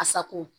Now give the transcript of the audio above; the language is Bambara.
A sago